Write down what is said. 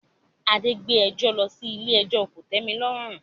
Adé ń gbé ẹjọ́ lọ sí ilé ẹjọ́ kòtẹ́milọ́rùn